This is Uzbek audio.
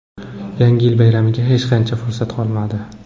Yangi yil bayramiga hech qancha fursat qolmadi.